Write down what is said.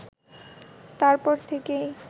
তারপর থেকেই